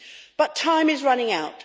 But time is running out.